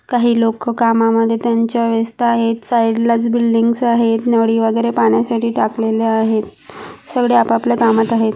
काही लोक कामामध्ये त्यांच्या व्यस्त आहेत. साइडला बिल्डिंगस आहेत. नळी वगेरे पाण्यासाठी टाकलेले आहेत. सगळे आपआपल्या कामात आहेत.